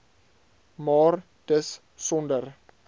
maar dis sonder